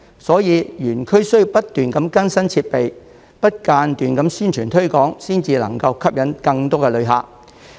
所以，園區需要不斷更新設備，不間斷地宣傳推廣，才能吸引更多旅客。